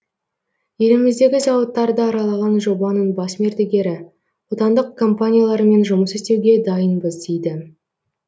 еліміздегі зауыттарды аралаған жобаның бас мердігері отандық компаниялармен жұмыс істеуге дайынбыз дейді